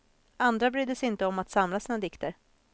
Andra brydde sig inte om att samla sina dikter.